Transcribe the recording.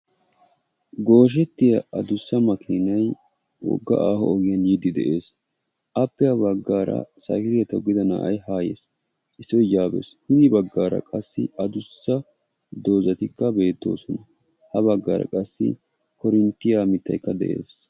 gooshettiya adussa kaaame wogga aaho ogiyarra yiidi beetessi appe ah baggara qassi bishkileetiya toggida na"ay haa yiidi beetessi a miyiyaarakka issi attuma na"au yaa biidi beetessi.